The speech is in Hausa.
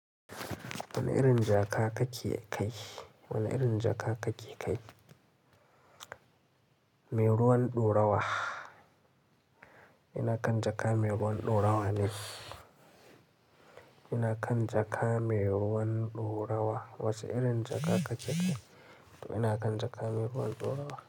Wane irin jaka kake kai? Wane irin jaka kake kai? Mai ruwan ɗorawa. Ina kan jaka mai ruwan ɗorawa ne. Ina kan jaka mai ruwan ɗorawa. Wace irin jaka kake kai? To ina kan jaka mai ruwan ɗorawa.